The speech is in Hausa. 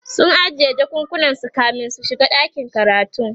sun ajiye jakakunan su kamin su shiga ɗakin karatun